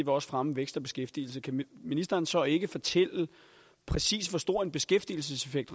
også fremme vækst og beskæftigelse kan ministeren så ikke fortælle præcis hvor stor en beskæftigelseseffekt